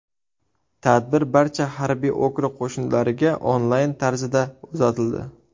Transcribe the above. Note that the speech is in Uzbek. Tadbir barcha harbiy okrug qo‘shinlariga onlayn tarzida uzatildi.